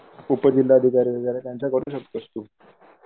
कुठे जिल्हा अधिकारी वैगरे त्यांचा करू शकतोस तू .